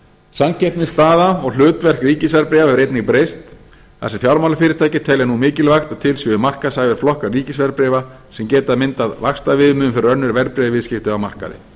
samkeppnisstaða og hlutverk ríkisverðbréfa hefur einnig breyst þar sem fjármálafyrirtæki telja nú mikilvægt að til séu markaðshæfir flokkar ríkisverðbréfa sem geta myndað vaxtaviðmiðun fyrir önnur verðbréfaviðskipti á markaði